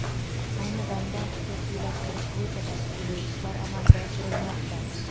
Ayni damda xususiylashtirish bo‘yicha tashkiliy ishlar amalga oshirilmoqda.